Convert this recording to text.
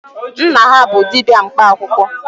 Nna ha bụ dibịa mkpa akwụkwọ.